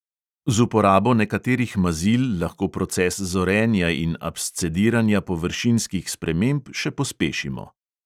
Z uporabo nekaterih mazil lahko proces zorenja in abscediranja površinskih sprememb še pospešimo.